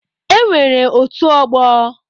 E nwere otu ọgbọ